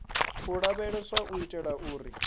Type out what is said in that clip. u lavheleswa u itela uri